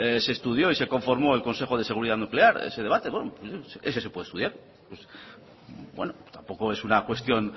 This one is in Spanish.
se estudió y se conformó el consejo de seguridad nuclear ese debate en fin eso se puede estudiar tampoco es una cuestión